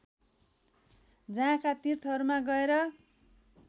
जहाँका तीर्थहरूमा गएर